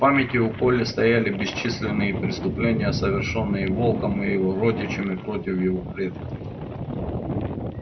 в памяти у колли стояли бесчисленные преступления совершенные волком и его родичами против её предков